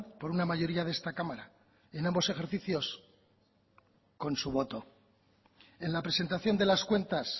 por una mayoría de esta cámara en ambos ejercicios con su voto en la presentación de las cuentas